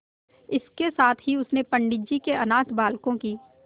इसके साथ ही उसने पंडित जी के अनाथ बालकों की